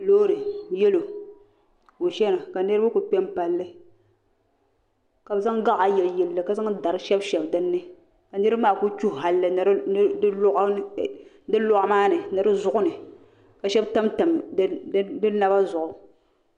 Loori yelo ka o chena ka niriba kuli kpe m palili ka bɛ zaŋ gaɣa yili yili li ka zaŋ dari shebi shebi dinni ka niriba maa kuli tuhi halli ni di loɣu maani ni di zuɣu ni ka sheba tamtam di naba zuɣu.